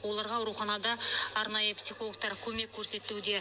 оларға ауруханада арнайы психологтар көмек көрсетуде